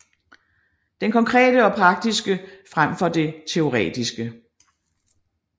Det konkrete og praktiske frem for det teoretiske